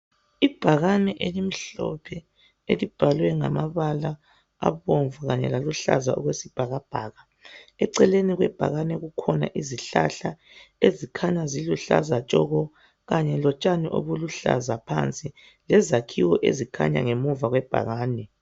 Ibhakani elimhlophe elibhalwe ngama bala abomvu Kanye laluhlaza okwesibhakabhaka eceleni kwebhakani kukhona izihlahla ezikhanya eziluhlaza tshoko Kanye lotshani ubuluhlaza phansi lezakhiwo zikhanya ngemuva kwebhakani.